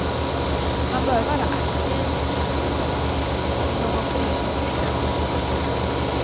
Man bör vara aktiv, komma i någon förening till exempel. punkt